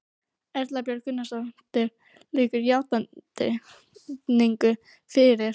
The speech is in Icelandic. Erla Björg Gunnarsdóttir: Liggur játning fyrir?